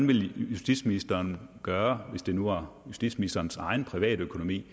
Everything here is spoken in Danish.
ville justitsministeren for gøre hvis det nu var justitsministerens egen privatøkonomi